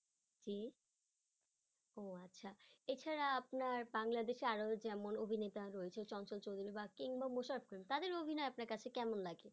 জী ও আচ্ছা এছাড়া বাংলাদেশে আরো যেমন অভিনেতা রয়েছে চঞ্চল চৌধুরী বা তাদের অভিনয় আপনার কাছে কেমন লাগে?